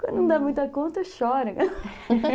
Quando não dá muita conta, chorem.